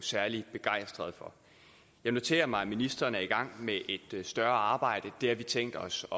særlig begejstrede for jeg noterer mig at ministeren er i gang med et større arbejde det har vi tænkt os